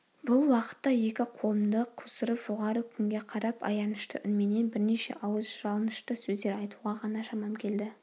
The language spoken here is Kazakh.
бұл уақытта екі қолымды қусырып жоғары күнге қарап аянышты үнменен бірнеше ауыз жалынышты сөздер айтуға ғана шамам келді